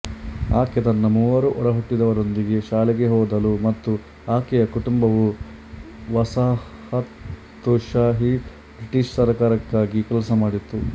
ಆಕೆ ತನ್ನ ಮೂವರು ಒಡಹುಟ್ಟಿದವರೊಂದಿಗೆ ಶಾಲೆಗೆ ಹೋದಳು ಮತ್ತು ಆಕೆಯ ಕುಟುಂಬವು ವಸಾಹತುಶಾಹಿ ಬ್ರಿಟಿಷ್ ಸರ್ಕಾರಕ್ಕಾಗಿ ಕೆಲಸ ಮಾಡಿತು